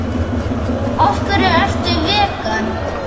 Af hverju ertu vegan?